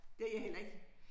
Det har jeg heller ikke